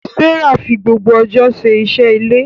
Sarah fi gbogbo ọjọ́ ṣe iṣẹ́ ilé.